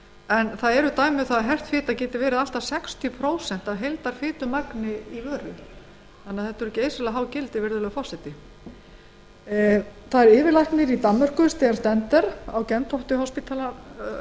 matvælum dæmi eru um að hert fita geti verið allt að sextíu prósent af heildarfitumagni í vöru hér er því um að ræða geysilega há gildi steen stender yfirlæknir